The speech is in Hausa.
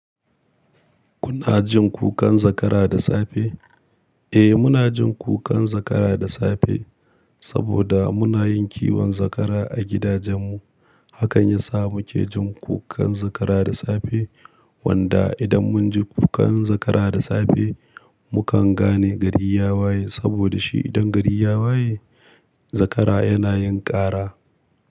Kuna jin kukan zakara da safe? Eh, muna jin kukan zakara da safe saboda muna yin kiwon zakara a gidajenmu. Hakan yasa muke jin kukan zakara da safe. Wanda idan mun ji kukan zakara da safe, mukan gane gari ya waye. Saboda shi idan gari ya waye, zakara yana yin ƙara.